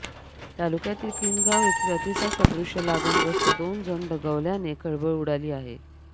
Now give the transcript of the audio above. तालुक्यातील किनगाव येथे अतिसार सदृश्य लागण ग्रस्त दोन जण दगावल्याने खळबळ उडाली आहे